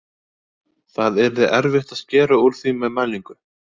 Það yrði erfitt að skera úr því með mælingu.